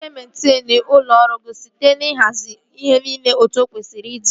Ị ga-ementenu ime ụlọ ọrụ gị site n'ihazi ihe niile etu o kwesịrị ịdị